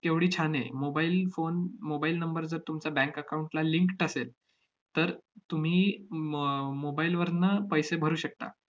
केवढी छान आहे. mobile phone mobile number जर तुमचा bank account ला linked असेल, तर तुम्ही म~ आह mobile वरनं पैसे भरू शकता.